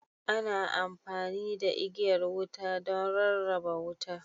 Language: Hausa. Ana amfani da igiyar wuta don rarraba wuta.